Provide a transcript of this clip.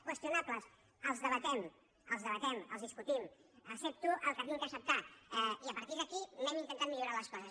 qüestionables els debatem els discutim accepto el que he d’acceptar i a partir d’aquí anem intentant millorar les coses